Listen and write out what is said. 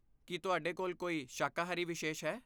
ਕੀ ਤੁਹਾਡੇ ਕੋਲ ਕੋਈ ਸ਼ਾਕਾਹਾਰੀ ਵਿਸ਼ੇਸ਼ ਹੈ?